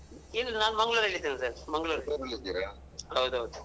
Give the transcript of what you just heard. ಇಲ್ ನಾನ್ ಮಂಗ್ಳೂರಲ್ ಇದೀನಿ sir . ಹೌದ್ ಹೌದು.